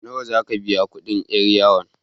Nawa za ka biya kuɗin 'yar yawon?